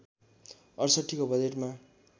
६८ को बजेटमा